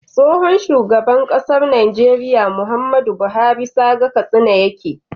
Tsohon shugaban ƙasar Nigeria Muhammadu buhari saga katsina yake